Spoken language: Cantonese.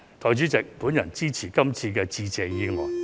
代理主席，我支持致謝議案。